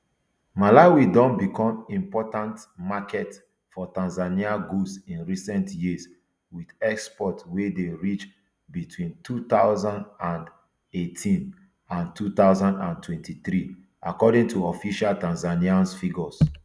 malawi don become important market for tanzanian goods in recent years with exports wey dey reach between two thousand and eighteen and two thousand and twenty-three according to official tanzanian figures